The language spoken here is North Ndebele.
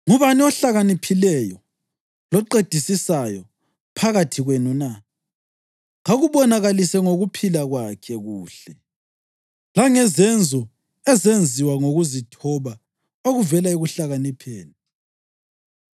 Ngubani ohlakaniphileyo loqedisisayo phakathi kwenu na? Kakubonakalise ngokuphila kwakhe kuhle, langezenzo ezenziwa ngokuzithoba okuvela ekuhlakanipheni.